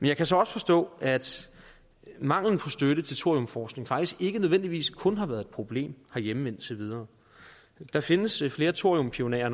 jeg kan så også forstå at manglen på støtte til thoriumforskning faktisk ikke nødvendigvis kun har været et problem herhjemme indtil videre der findes flere thoriumpionerer